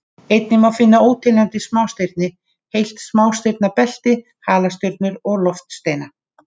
Einnig má finna óteljandi smástirni, heilt smástirnabelti, halastjörnur og loftsteina.